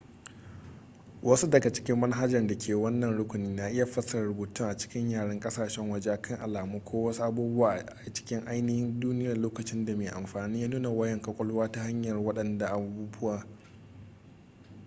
wasu daga cikin manahajar da ke wannan rukuni na iya fassarar rubutu a cikin yaren kasashen waje akan alamu ko wasu abubuwa a cikin ainihin duniyar lokacin da mai amfani ya nuna wayan kwakwalwa ta hanyar wadancan abubuwa